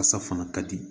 Fasa fana ka di